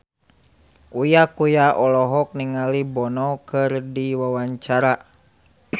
Uya Kuya olohok ningali Bono keur diwawancara